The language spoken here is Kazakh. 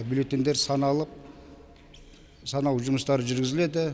бюлеттеньдер саналып санау жұмыстары жүргізіледі